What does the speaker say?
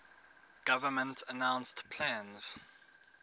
government announced plans